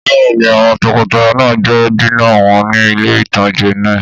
Bẹ́ẹ̀ni, àwọn tọkọtaya náà jẹ dínà wọn ní ilé-ìtánjẹ náà